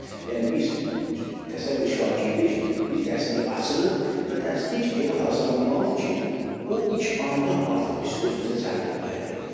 Yəni biz təsəvvür edin şagirdik, bir dərsliyi açırıq və dərslik elə hazırlanmalıdır ki, o ilk anda artıq biz özümüzə cəlb etməlidir.